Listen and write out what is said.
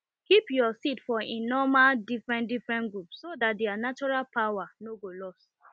keep your seed for e normal different different group so that their natural power no go lost